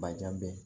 Bajan bɛ